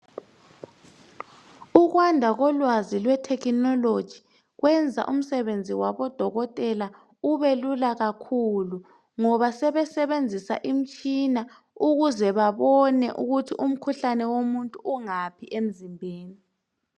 Ukwanda kolwazi kwethekhinoloji lwenza umsebenzi wabodokotela ubelula kakhulu ngoba sebesebenzisa imitshina ukuze babone ukuthi umkhuhlane womuntu ungaphi emzimbeni.